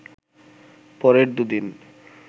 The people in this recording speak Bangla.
পরের দু’দিন